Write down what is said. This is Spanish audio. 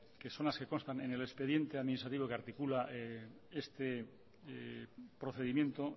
que son las que constan en el expediente administrativo que articula este procedimiento